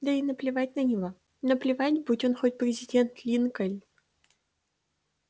да ей наплевать на него наплевать будь он хоть президент линкольн